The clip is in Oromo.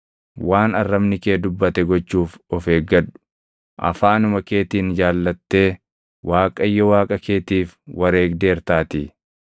Waan arrabni kee dubbate gochuuf of eeggadhu; afaanuma keetiin jaallattee Waaqayyo Waaqa keetiif wareegdeertaatii.